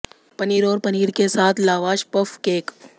पनीर और पनीर के साथ लावाश पफ केक